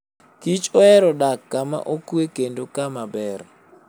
kich ohero dak kama okwe kendo kama ber.